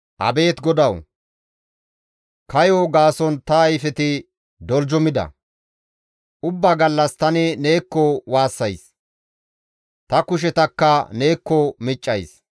Abeet GODAWU! Kayo gaason ta ayfeti doljumida; Ubbaa gallas tani neekko waassays; ta kushetakka neekko miccays.